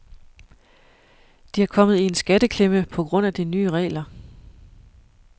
De er kommet i en skatteklemme på grund af de nye regler.